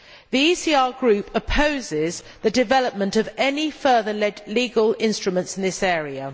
The ECR Group opposes the development of any further legal instruments in this area.